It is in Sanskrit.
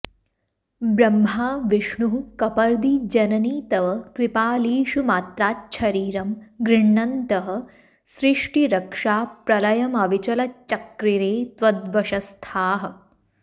ब्रह्मा विष्णुः कपर्दी जननि तव कृपालेशमात्राच्छरीरं गृह्णन्तः सृष्टिरक्षाप्रलयमविचलच्चक्रिरे त्वद्वशस्थाः